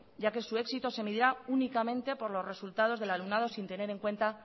ya que su éxito se medirá únicamente por los resultados del alumnado sin tener en cuenta